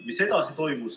Mis edasi toimus ...